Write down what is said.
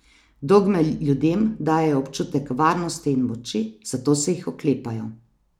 Dogme ljudem dajejo občutek varnosti in moči, zato se jih oklepajo.